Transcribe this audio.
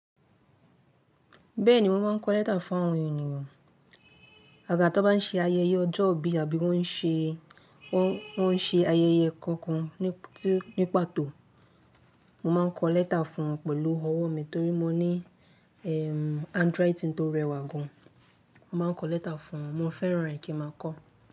Bẹ́ẹ̀ni wọ́n máa ń kọ lẹ́tà fún àwọn ènìyàn. Àgà tó bá ń ṣe ayẹyẹ ọjọ́ ìbí àbí wọ́n ṣe, wọ́n ṣe ayẹyẹ kankan ní pàtó. Mo máa ń kọ lẹ́tà fún wọn pẹ̀lú ọwọ́ mi torí mo ní, ehm, handwriting tó rẹwà gan. Mo máa ń kọ lẹ́tà fún wọn. Mo fẹ́ràn rẹ̀ kí n máa kọ.